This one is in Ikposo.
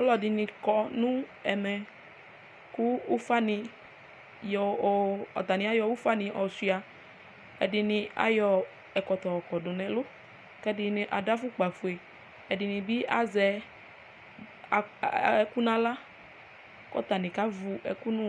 aloɛdini kɔ no ɛmɛ kò ufa ni yɔ o atani ayɔ ufa ni ɔsua ɛdini ayɔ ɛkɔtɔ ɔkɔ do n'ɛlu k'ɛdini ado afukpa fue ɛdini bi azɛ ɛkò n'ala k'atani kevu ɛkò no